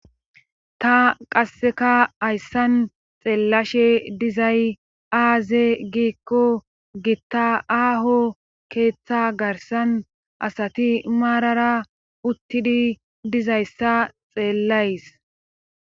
Ta qasseka hayssan xeellashe dizay aaze giikko gitta aaho keeththa garsan asati maarara uttidi dizayssa xeellays